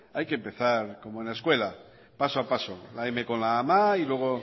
hay que empezar como en la escuela paso a paso la m con la a ma y luego